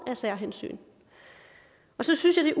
af særhensyn så synes jeg